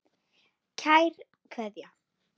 Kær Kveðja.